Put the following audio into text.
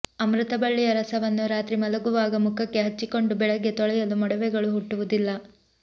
ಅಮೃತ ಬಳ್ಳಿಯ ರಸವನ್ನು ರಾತ್ರಿ ಮಲಗುವಾಗ ಮುಖಕ್ಕೆ ಹಚ್ಚಿಕೊಂಡು ಬೆಳಗ್ಗೆ ತೊಳೆಯಲು ಮೊಡವೆಗಳು ಹುಟ್ಟುವುದಿಲ್ಲ